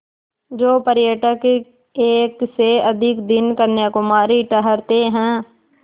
जो पर्यटक एक से अधिक दिन कन्याकुमारी ठहरते हैं